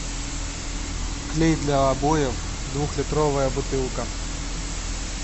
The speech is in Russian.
клей для обоев двухлитровая бутылка